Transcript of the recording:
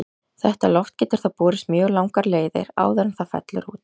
Þetta loft getur þá borist mjög langar leiðir áður en það fellur út.